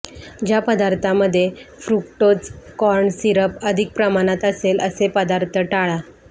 ज्या पदार्थांमध्ये fructose corn syrup अधिक प्रमाणात असेल असे पदार्थ टाळा